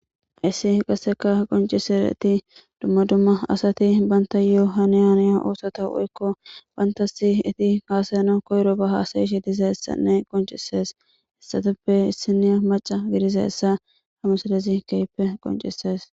issi qasseka qoncisereti dumma dumma asati banta yohaniyaniya oosota hu7ekko banta si iti kaasayana koyro bahaasayish diza essanne qoncisees hessatuppe issini maca gidiza essa hamusalezi keyppe qoncises